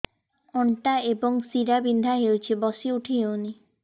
ଅଣ୍ଟା ଏବଂ ଶୀରା ବିନ୍ଧା ହେଉଛି ବସି ଉଠି ହଉନି